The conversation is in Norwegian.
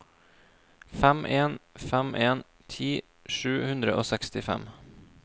fem en fem en ti sju hundre og sekstifem